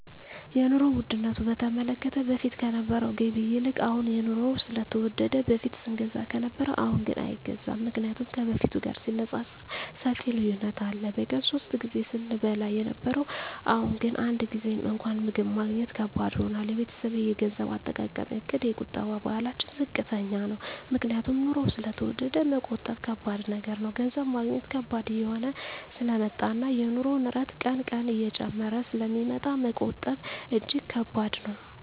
የኑሮ ዉድነቱ በተመለከተ በፊት ከነበረዉ ገቢ ይልቅ አሁን የኑሮዉ ስለተወደደ በፊት ስንገዛ ከነበረ አሁንግን አይገዛም ምክንያቱም ከበፊቱ ጋር ሲነፃፀር ሰፊ ልዩነት አለ በቀን ሶስት ጊዜ ስንበላ የነበረዉ አሁን ግን አንድ ጊዜም እንኳን ምግብ ማግኘት ከባድ ሆኗል የቤተሰቤ የገንዘብ አጠቃቀምእቅድ የቁጠባ ባህላችን ዝቅተኛ ነዉ ምክንያቱም ኑሮዉ ስለተወደደ መቆጠብ ከባድ ነገር ነዉ ገንዘብ ማግኘት ከባድ እየሆነ ስለመጣእና የኑሮዉ ንረት ቀን ቀን እየጨመረ ስለሚመጣ መቆጠብ እጂግ ከባድ ነዉ